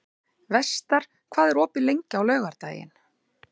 Vestar, hvað er opið lengi á laugardaginn?